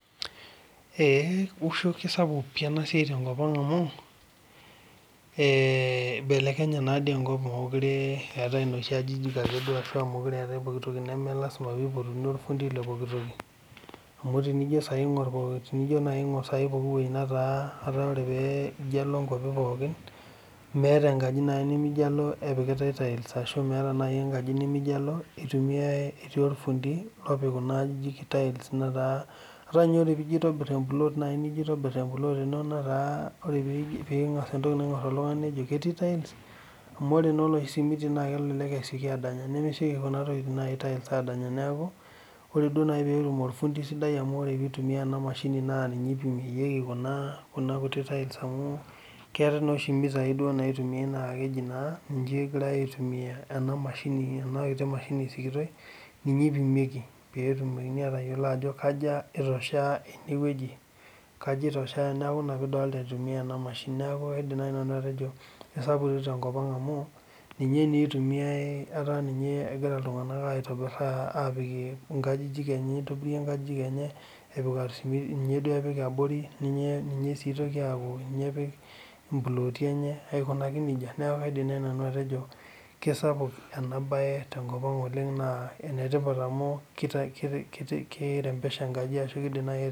Ee kesapuk enasiai tenkop aang amu ibelekenye enkop amu melasima pipotuni ofundi le pookitoki amu tenijo nai aingur pooki toki amu meeta enkaji nimijo alo epikitae tails ashu meeta enkaji nijo alo etii ofundii opikitae tails ataa nye tenijo asher emplot ino na tenijo aingur netaa amu ore enesimiti na kesieki adanya neaku ore nai petum ofundi sidai ninye ipimieki petumoki atadol ajo kanyio itoshea enewueji neakh ina pidolita egira enamashini amu ninye egira ltunganak aitobirie nkajijik enye apikie esimiti ninye epik abori ninye itoku aakubninye epik mploti enya neaku kaidim nanu atejo enetipat amu kirembesha enkaji